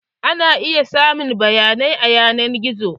Ana iya samun bayanai a yanar gizo.